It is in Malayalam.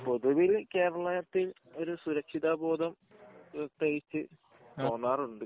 പൊതുവിൽ കേരളത്തിൽ ഒരു സുരക്ഷിത ബോധം തോന്നാറുണ്ട്